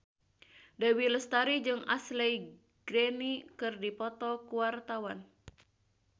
Dewi Lestari jeung Ashley Greene keur dipoto ku wartawan